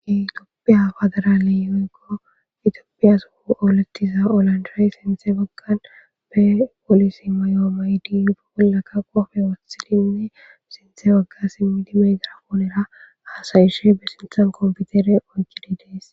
itoppeya afadara leyyoyko itioppiya su olettiza olandry sinthe baggan be polisi mayoo mayidiyufe bollaka qofe wotilinne sinthe bagga simmidi megira poonera aasayishe besinthan kompitere oykkide dees